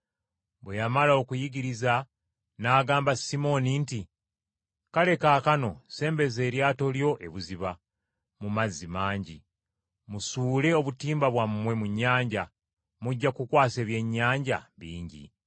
Bwe yamala okuyigiriza n’agamba Simooni nti, “Kale kaakano sembeza eryato lyo ebuziba, mu mazzi amangi, musuule obutimba bwammwe mu nnyanja, mujja kukwasa ebyennyanja bingi!”